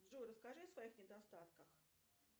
джой расскажи о своих недостатках